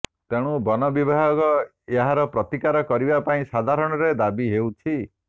ତେଣୁ ବନ ବିଭାଗ ଏହାର ପ୍ରତିକାର କରିବା ପାଇଁ ସଧାରଣରେ ଦାବି ହେଉଛି